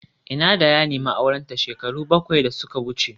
Ina da ya nemi aurenta shekaru bakwai da suka wuce